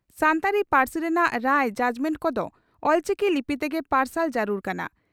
ᱥᱟᱱᱛᱟᱲᱤ ᱯᱟᱹᱨᱥᱤ ᱨᱮᱱᱟᱜ ᱨᱟᱭ (ᱡᱟᱡᱽᱢᱮᱱᱴ) ᱠᱚᱫᱚ ᱚᱞᱪᱤᱠᱤ ᱞᱤᱯᱤ ᱛᱮᱜᱮ ᱯᱟᱨᱥᱟᱞ ᱡᱟᱹᱨᱩᱲ ᱠᱟᱱᱟ ᱾